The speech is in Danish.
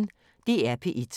DR P1